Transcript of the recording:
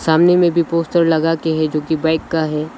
सामने में भी पोस्टर लगाके है जो की बाइक का है।